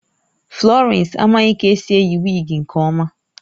Florence amaghị ka esi eyi wigi nke ọma